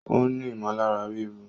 Ó ní ìmọ̀lára ríru